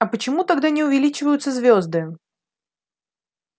а почему тогда не увеличиваются звёзды